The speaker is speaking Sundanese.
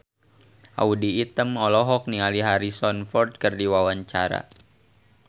Audy Item olohok ningali Harrison Ford keur diwawancara